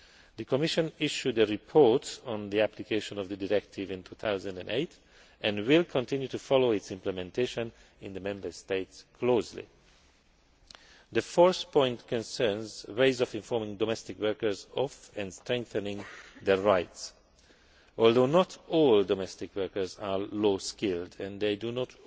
The Commission issued a report on the application of the directive in 2008 and will continue to follow its implementation in the Member States closely. The fourth point concerns ways of informing domestic workers of, and strengthening, their rights. Although not all domestic workers are low skilled and do